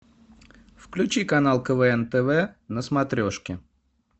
включи канал квн тв на смотрешке